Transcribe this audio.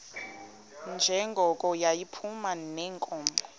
njengoko yayiphuma neenkomo